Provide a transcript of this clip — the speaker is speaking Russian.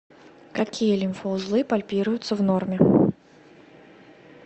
какие лимфоузлы пальпируются в норме